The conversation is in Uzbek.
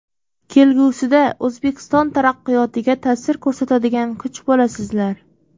Kelgusida O‘zbekiston taraqqiyotiga ta’sir ko‘rsatadigan kuch bo‘lasizlar.